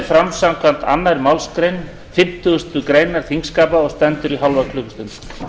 fram samkvæmt annarri málsgrein fimmtugustu grein þingskapa og stendur í hálfa klukkustund